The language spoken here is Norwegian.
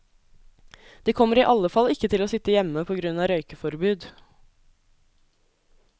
De kommer i alle fall ikke til å sitte hjemme på grunn av røykeforbud.